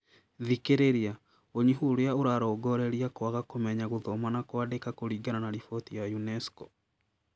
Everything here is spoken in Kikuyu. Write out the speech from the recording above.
Thikiriria, ũnyihu ũrĩa ũrarongoreria kwaga kũmenya gũthoma na kwandĩka kũringana na riboti ya UNESCO